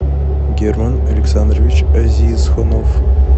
герман александрович азизхунов